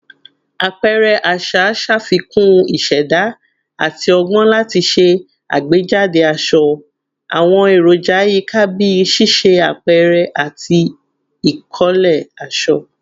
Apẹrẹ aṣa ṣafikun iṣẹda ati ọgbọn lati ṣe agbejade aṣọ, awọn eroja yika bii ṣiṣe apẹrẹ ati ikole aṣọ